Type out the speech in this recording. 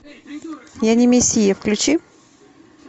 я не мессия включи